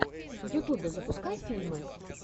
в ютюбе запускай фильмы